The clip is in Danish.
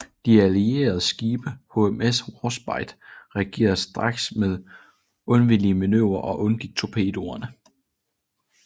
De allierede skibe omkring HMS Warspite reagerede straks med undvigemanøvrer og undgik torpedoerne